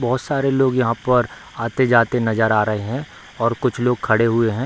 बहुत सारे लोग यहाँ पर आते-जाते नज़र आ रहें हैं और कुछ लोग खड़े हुए हैं।